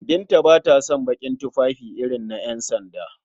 Binta ba ta son baƙin tufafi irin na ƴansanda.